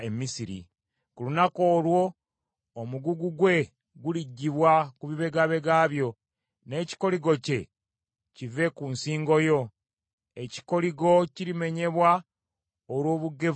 Ku lunaku olwo, omugugu gwe guliggyibwa ku bibegabega byo, n’ekikoligo kye kive ku nsingo yo; ekikoligo kirimenyebwa olw’obugevvu bwo.